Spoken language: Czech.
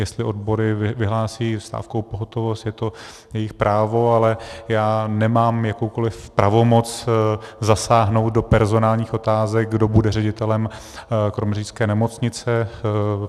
Jestli odbory vyhlásí stávkovou pohotovost, je to jejich právo, ale já nemám jakoukoliv pravomoc zasáhnout do personálních otázek, kdo bude ředitelem kroměřížské nemocnice.